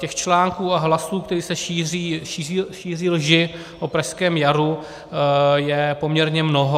Těch článků a hlasů, kde se šíří lži o pražském jaru, je poměrně mnoho.